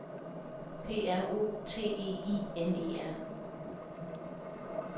P R O T E I N E R